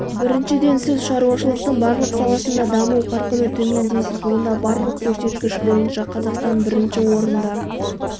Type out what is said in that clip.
біріншіден сіз шаруашылықтың барлық саласында даму қарқыны төмен дейсіз онда барлық көрсеткіш бойынша қазақстан бірінші орында